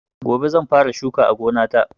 Gobe zan fara shuka a gonata.